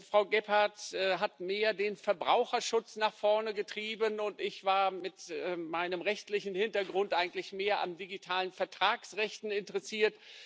Frau Gebhardt hat mehr den Verbraucherschutz nach vorne getrieben, und ich war mit meinem rechtlichen Hintergrund eigentlich mehr an digitalen Vertragsrechten interessiert.